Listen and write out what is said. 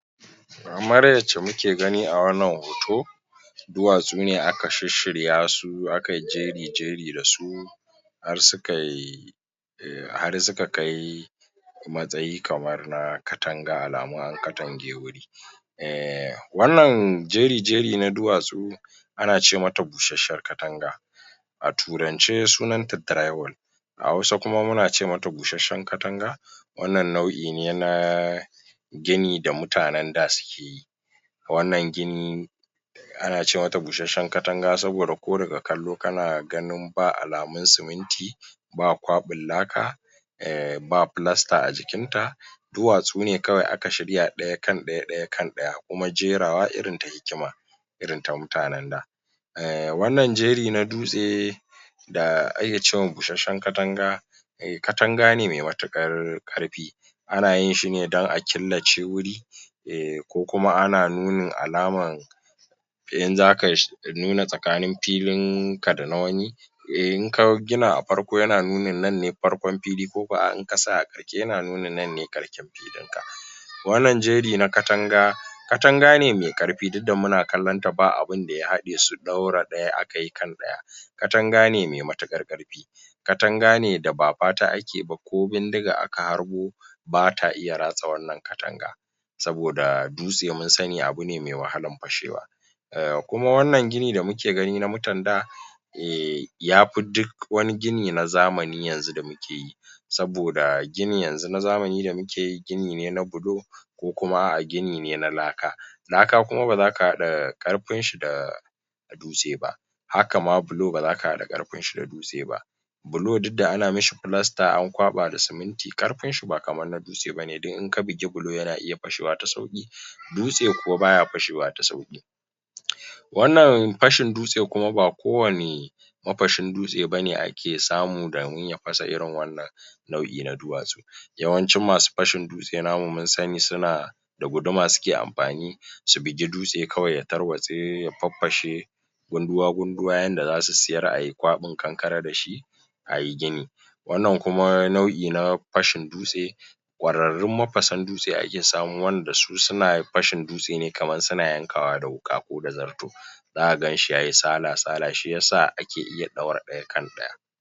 idan jarir idan jarir ƙar ƙarƙashin ƙarƙashin shekara ɗaya ya fara toshe toshewar maƙo maƙoshi sabo saboda wani abu ya shiga yana yana da mohimminci yanada muhimmanci a gar a gaggauta a gaggauta ɗaukar ɗaukar mataki domin cutar cutar rayu ro ro ruwar domin ceto rayuwar sa ga gayadda ga yadda za'a taimaka za'a taimaka za'a taimak a lu a lu ala alamomi alamomi toshe toshewar maƙogwaro wuri jariri yana yana ƙoƙa yana yana yana yana ƙoƙarin ƙoƙarin yin yin kuɗa yana ƙoƙarin yin kuɗa amfani da amfani da ya iya ya iya fitar ya iya fitar ya fidda sauti yana yana ha hadi hadi hadi diya iska iska ko yana yana nuna yana yana yana nuna ala alamomi yana nuna alamomir alamo alamomi halar wahalar num num numfashi yana wahalar numfashi tabbas tabbas tabbatar tabbatar cewa yana yana yana nufin yana yana num numfashi da da wuya amma amma yana rayuwa um kar karka ko kalo karka tsokalo bakin jaririn da da yatsa sai idan ka ga abinda ya toshe